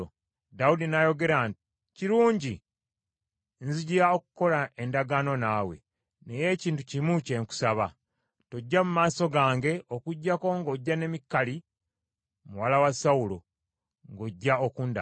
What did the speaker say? Dawudi n’ayogera nti, “Kirungi. Nzija okukola endagaano naawe. Naye ekintu kimu kye nkusaba. Tojja mu maaso gange okuggyako ng’ojja ne Mikali muwala wa Sawulo, ng’ojja okundaba.”